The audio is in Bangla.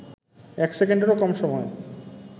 এক সেকেন্ডেরও কম সময়ে